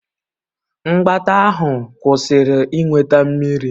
Mgbata ahụ kwụsịrị iweta Mmiri.